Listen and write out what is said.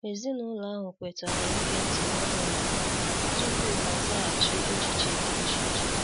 Ezinụlọ ahụ kwetara ige nti n'enweghi ikpe tupu ha azaghachi echiche di iche iche.